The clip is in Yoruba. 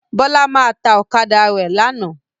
Bọ́lá máa ta ọ̀kadà tó rà lánàá.